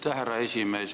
Aitäh, härra juhataja!